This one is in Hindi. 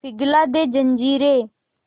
पिघला दे जंजीरें